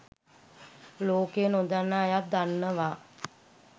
ලෝකයේ නොදන්නා අයත් දන්නවා.